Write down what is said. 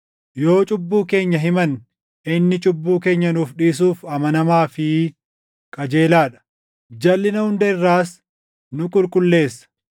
Yoo cubbuu keenya himanne, inni cubbuu keenya nuu dhiisuuf amanamaa fi qajeelaa dha; jalʼina hunda irraas nu qulqulleessa.